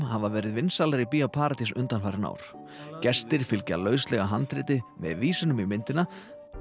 hafa verið vinsælar í BíóParadís undanfarin ár gestir fylgja lauslegu handriti með vísunum í myndina